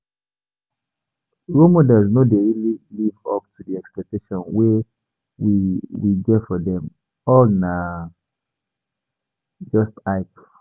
Role models no dey really live up to the expectations wey we we get for them, all na just hype